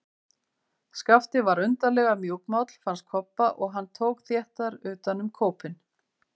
Skapti var undarlega mjúkmáll, fannst Kobba, og hann tók þéttar utan um kópinn.